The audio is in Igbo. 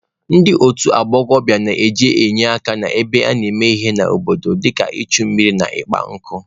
Ndị otu ụmụ agbọghọ na-eje enye aka ebe a na-eme ihe n'obodo dịka ichu mmiri na ịkpa nkụ.